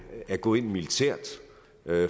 er gået ind militært